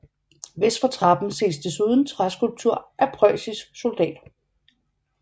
Vest for trappen ses desuden træskulptur af en prøjsisk soldat